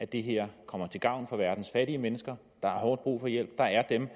det her kommer til gavn for verdens fattige mennesker der har hårdt brug for hjælp der er dem